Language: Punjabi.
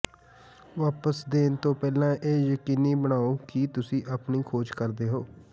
ਵਾਪਸ ਦੇਣ ਤੋਂ ਪਹਿਲਾਂ ਇਹ ਯਕੀਨੀ ਬਣਾਓ ਕਿ ਤੁਸੀਂ ਆਪਣੀ ਖੋਜ ਕਰਦੇ ਹੋ